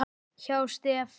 hjá STEF.